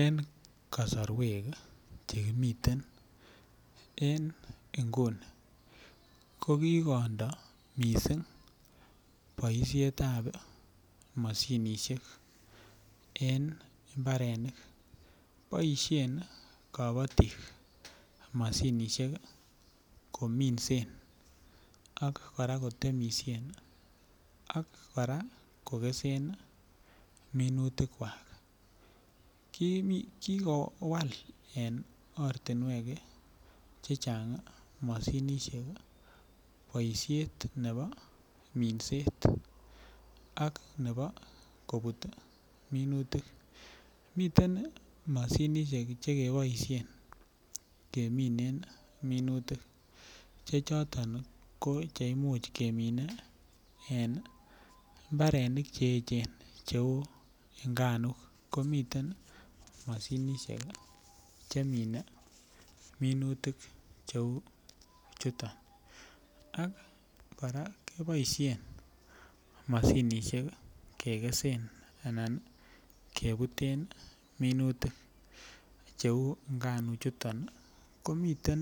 En koaorwek chekimiten inguni ko kikondo missing boisiet ab moshinisiek en mbarenik, boisien kobotik moshinisiek kominsen ak kora kotemisien ak kora kogesen minutikwak, kikowal en ortinwek chechang moshinisiek boisiet nebo minset ak nebo kobuut minutik, miten moshinisiek chekeboisien keminen minutik chechoton koimuch keminen mbarenik cheechen cheu nganuk, komiten moshinisiek chemine minutik cheu chuton ak kora keboisien moshinisiek kegesen anan kebuten minutik cheu nganuchuton, komiten